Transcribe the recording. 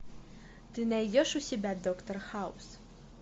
ты найдешь у себя доктор хаус